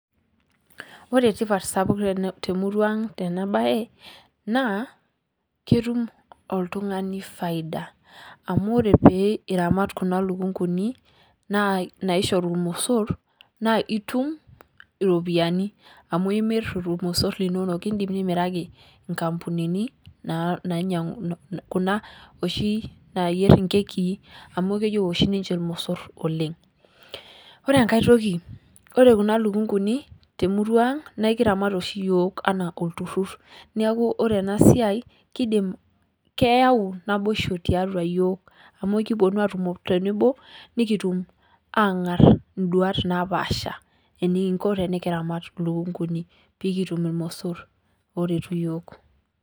Ore tipat sapuk temurang' tena baye naa ketum oltung'ani faida amuu ore pee iramat kuna lukunguni naishoru irmosor naa itum iropiani amu imir irmosor linonok. Idim nimiraki kampunini naa ninyang'u kuna oshi nayier inkekii amu keyieu oshii ninche irmosor oleng'. Ore enkae toki ore kuna lukunkuni temurang' naa ikiramat oshi iyiok enaa olturur neeku ore enaa siai kidim keyau naboish tiatua yiok ama ikipuonu atumo tenebo nikitum ang'ar duat napaasha enikinko temikiramat lukunkuni pekitum irmosor oretu iyiok.